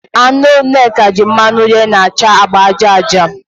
Anụ Nneka ji mmanụ yee na-acha agba aja aja